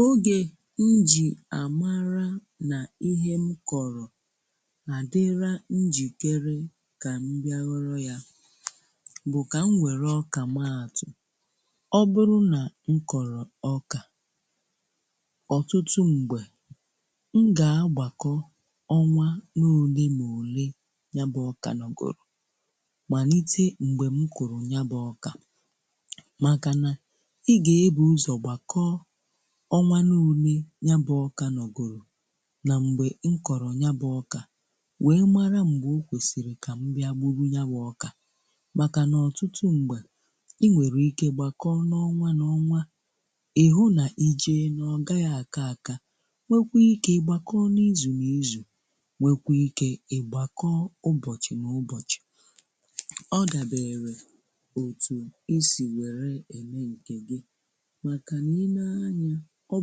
Oge m jì àmara n’ihe m kọrọ̀ àdịra njìkere kà m bịa hụrụ ya bụ̀ kà m nwèrè ọkà maatụ, ọ bụrụ nà m kọ̀rọ̀ ọkà ọtụtụ m̀gbè m gà-agbàkọ ọnwa n’ole mà òle nya bụ̇ ọkà nọ̀gụrụ̀ màlite mgbe m kụ̀rụ̀ nya bụ̇ ọkà màkàna ị ga ebu ụzọ gbàkọ ọnwanụ̀ ule ya bụ̀ ọkà nọ̀ gụrụ̀ na mgbe nkọrọ̀ ya bụ̀ ọkà wee mara mgbe o kwesiri kà m bịà gburu ya bụ̀ ọkà màkà nà ọtụtụ ṁgbà i nwere ike ịgbakọọ n’ọnwa n’ọnwa ịhụ na ije n’ọgaghị akà akà nwee kwa ike ịgbakọọ n’izu na izu nwee kwa ike ịgbakọọ ụbọchị n’ụbọchị, ọ dabere otu̇ isi̇ wère eme nkè gi maka nà ị nè ányá ọ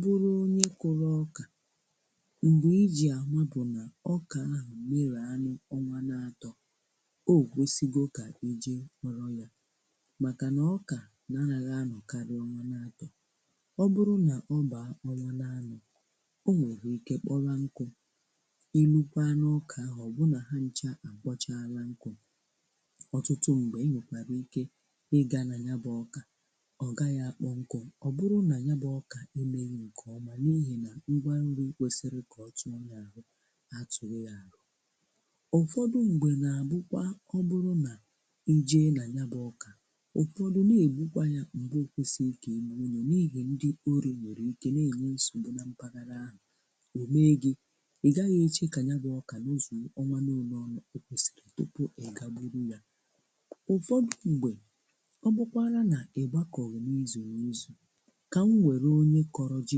bụrụ̀ onye kụrụ̀ ọkà mgbe iji amà bụ̀ nà ọkà ahụ̀ merè anụ̀ ọnwà n’atọ̀ o gwesigo kà iji họrọ yà makà nà ọkà anaghị anọ̀ karịà ọnwà n’atọ. ọ bụrụ̀nà ọ bà ọnwà n’anọ̀ o nwerù ike kpọwa nkụ̀ ilukwà n’ọkà ahụ̀ ọ bụ nà ha nchà a kpọchaalà nkụ,̀ ọtụtụ mgbe i nwekwara ike ịgà na nya bụ̀ ọkà ọ gaghị̀ akpọ̀ nkụ̀ọ bụrụ na ya bú ọkà emeghị nke ọma n’ihi na ngwa nri kwesiri ka ọ tụọ ya ahụ̀ atụghị yà ahụ.̀ Ụfọdụ ṁgbe na-abụkwa ọ bụrụ nà i jee na ya bụ ọkà ụfọdụ na-egbukwà ya mgbe okwesiri ka egbu ọ ya ndị ọri nwere ike na-enye nsogbu na mparàrà ahụ̀ o mee gị̀ ị gaghị̀ eche ka ya bụ ọkà nọ zụò ọnwa n'olè ọ kwesiri tupu ị ga gbụrụ yà, ụfọdụ ṁgbe ọ bụkwarà na ịgbakọ̀ghì n’izuru n'ịzù ka m wéru onye kọrọ ji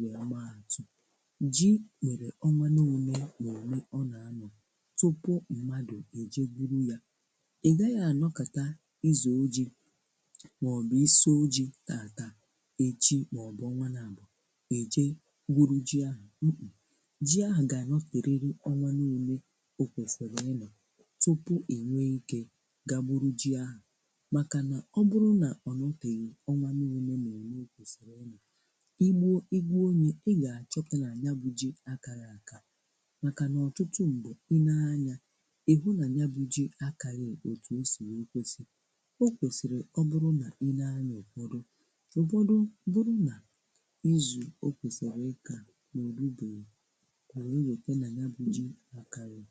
wee maatụ, ji nwere ọnwanụ une nà une ọ nà-ano tupu mmadụ̀ eje gwuru ya, ị gaghị ànọ kàta ịzọ ji̇ màọ̀bụ̀ iso ji̇ tàtà echi màọ̀bụ̀ ọnwa nà àbụ̀ eje gwuru ji ahụ̀ ji ahụ̀ gà-àṅọterịrị ọnwanụ une o kwèsìrì ịnọ̀ tupu ìnwe ike gagburu ji ahụ̀ màkà nà ọ bụrụ nà ọ nọtèghì ọnwanụ̀ une nà une o kwèsìrì ịnọ̀ egbụ egbụ ya ịgà àchọpụ̀ nà nya bù ji akaghị aka, ̀ makà n’ọtụtụ mgbe i nee anya ị hụ nà nya bù ji akaghị̀ òtù o sì wee kwèsì ọ kwèsìrì ọ bụrụ nà i nee anya ụ̀bọdụ ụbọdụ bụrụ nà izù o kwèsìrì ịkà na òru bèghị o wee lòte nà nya bù ji akaghị.